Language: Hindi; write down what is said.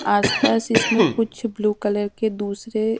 आसपास इसमें कुछ ब्लू कलर के दूसरे--